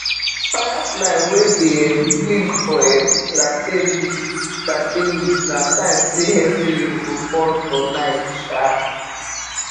firefly wey dey um blink for um plantain leaf plantain leaf na sign say heavy rain go fall for night um